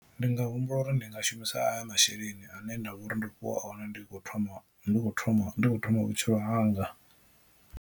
Ndi nga humbula uri ndi nga shumisa aya masheleni ane nda vhori ndo fhiwa one ndi kho thoma ndi kho thoma vhutshilo hanga.